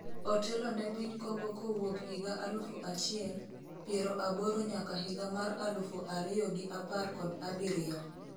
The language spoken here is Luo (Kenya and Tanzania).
otelo ne piny Kongo kowuok higa alufu achiel ,piero aboro nyaka higa mar alufu ariyo gi apar kod abiriyo